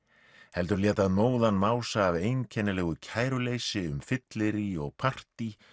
heldur lét það móðan mása af einkennilegu kæruleysi um fyllirí og partí